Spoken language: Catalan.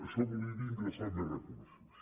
això volia dir ingressar més recursos